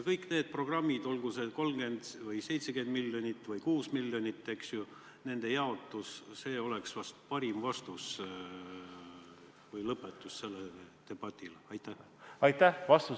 Kõikide nende programmide rahaline jaotus, olgu see 30 miljonit, 70 miljonit või 6 miljonit, oleks ehk parim vastus selle debati lõpetamiseks.